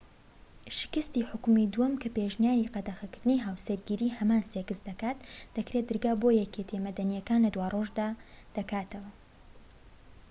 شکستی حوکمی دووەم کە پێشنیاری قەدەغەکردنی هاوسەرگیری هەمان سێکس دەکات دەکرێت دەرگا بۆ یەکێتیە مەدەنیەکان لە دوارۆژدا دەکاتەوە